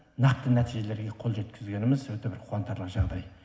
нақты нәтижеге қол жеткеніміз өте бір қуантарлық жағдай